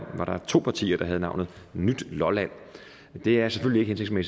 to partier der havde navnet nyt lolland det er selvfølgelig